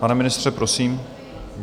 Pane ministře, prosím.